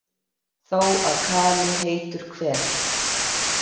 Þó að kali heitur hver,